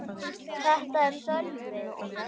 Þetta er Sölvi.